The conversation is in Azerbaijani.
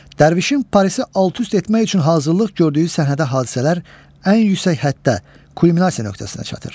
Dərviş məstəri şahın Parisi alt-üst etmək üçün hazırlıq gördüyü səhnədə hadisələr ən yüksək həddə, kulminasiya nöqtəsinə çatır.